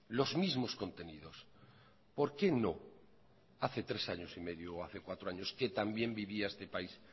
los mismos contenidos por qué no hace tres años y medio o hace cuatro años que también vivía este país